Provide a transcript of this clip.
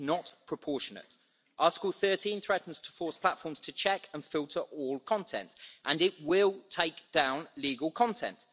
It is not proportionate. Article 13 threatens to force platforms to check and filter all content, and it will take down legal content.